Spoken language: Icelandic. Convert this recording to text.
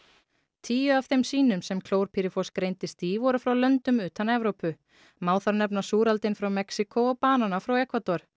tíu af þeim sýnum sem klórpýrifos greindist í voru frá löndum utan Evrópu má þar nefna frá Mexíkó og banana frá Ekvador